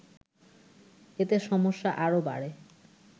এতে সমস্যা আরও বাড়ে